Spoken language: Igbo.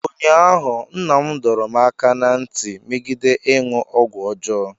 ụnyahụ, Nna m dọrọ m aka ná ntị megide ịṅụ ọgwụ ọjọọ